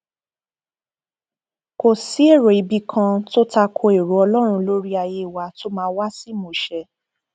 kò sí èrò ibì kan tó ta ko èrò ọlọrun lórí ayé wa tó máa wá sí ìmúṣẹ